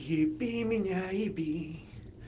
еби меня еби